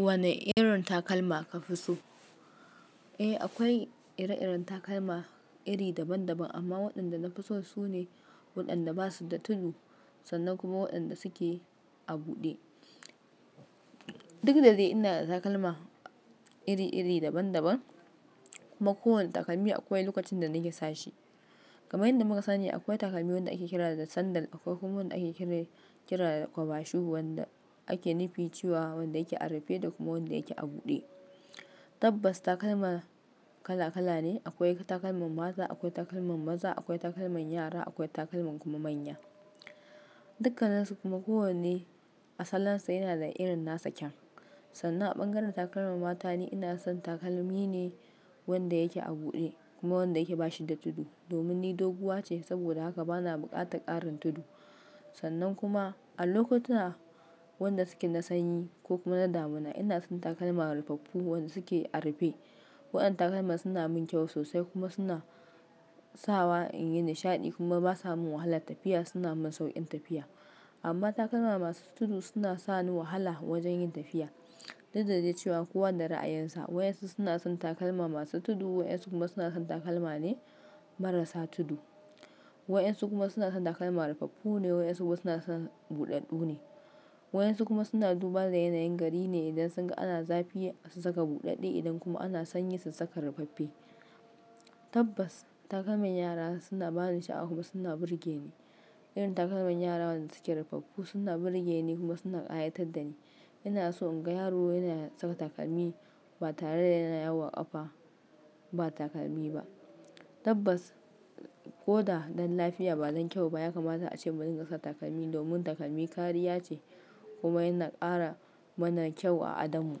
Wane irin takalma ka fi so? Eh, akwai ire-iren takalma iri daban-daban, amma waɗanda na fi so su ne waɗanda ba su da tudu sannan kuma waɗanda suke a buɗe. Duk da dai ina da takalma iri-iri daban-daban kuma kowane takalmi akwai lokacin da nake sa shi. Kamar yanda muka sani akwai takalmi wanda ake kira da sandal, akwai kuma wanda ake kira, kira da cover shoe wanda ake nufi cewa wanda yake a rufe da kuma wanda yake a buɗe. Tabbas takalma kala-kala ne. Akwai takalman mata, akwai takalman maza, akwai takalman yara, akwai takalman kuma manya. Dukka ninsu kuma kowanne a salon sa yana da irin nasa kyaun. Sannan a bangaren takalman mata ni ina son takalmi ne wanda yake a buɗe kuma wanda yake bashi da tudu domin ni doguwa ce saboda haka bana buƙatar ƙarin tudu. Sannan kuma a lokotuna waɗanda suke na sanyi ko kuma na damuna ina son takalma rufaffu waɗanda suke a rufe. Waɗannan takalman suna mun kyau sosai kuma suna sawa in yi nishaɗi kuma basa mun wahala tafiya, suna mun sauƙin tafiya. Amma takalma masu tudu suna sani wahala wajen yin tafiya. Duk da dai cewa kowa da ra'ayinsa, waɗansu suna son takalma masu tudu, waɗansu kuma suna son takalma ne marasa tudu. Waɗansu kuma suna son takalma rufaffu ne, waɗansu kuma suna son buɗaɗɗu ne. Waɗansu kuma suna duban da yanayin gari ne idan sun ga ana zafi su saka buɗaɗɗe idan kuma ana sanyi su saka rufaffe. Tabbas takalman yara suna bani sha'awa kuma suna burge ni. Irin takalman yaran da suke rufaffu suna burge ni kuma suna hayitar da ni. Ina so in ga yaro yana saka takalmi ba tare da yana yawo ƙafa ba takalmi ba. Tabbas ko da don lafiya ba don kyau ba ya kamata a ce mu dinga saka takalmi domin takalmi kariya ce kuma yana ƙara mana kyau a adon mu.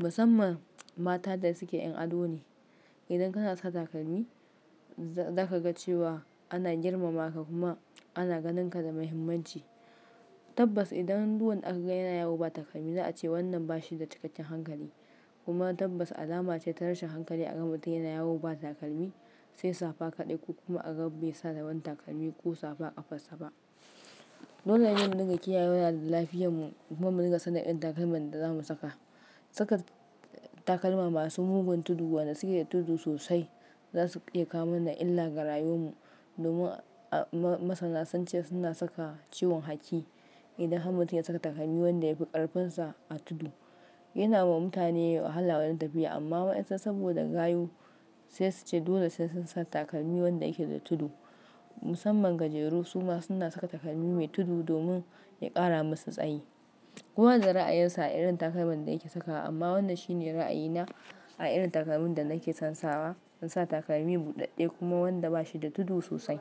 Musamman mata da suke 'yan ado ne. Idan kana saka takalmi za ka ga cewa ana girmama ka kuma ana ganin ka da muhimmanci. Tabbas idan duwannen aka ga yana yawo ba takalmi za a ce wannan bashi da cikakken hankali. Kuma tabbas alama ce ta rashin hankali a ga mutum yana yawo ba takalmi sai safa kaɗai ko kuma a ga bai saka wani takalmi ko safa ƙafarsa ba. Dole yin niga kiyaye wa da lafiyan mu kuma mu niga sanin irin takalman da zamu saka. Saka takalma masu mugun tudu waɗanda suke da tudu sosai za su iya kawo mana illa ga rayuwan mu domin masana sun ce suna saka ciwon haki. Idan har mutum ya saka takalmi wanda ya fi ƙarfinsa a tudu yana wa mutane wahala wajen tafiya amma waɗansu saboda gayu sai su ce dole sai sun sa takalmi wanda yake da tudu. Musamman gajeru su ma suna saka takalmi mai tudu domin ya ƙara masu tsayi. Kowa da ra'ayinsa a irin takalman da yake saka amma wannan shi ne ra'ayi na a irin takalmin da nake son sawa. In sa takalmi buɗaɗɗe kuma wanda bashi da tudu sosai.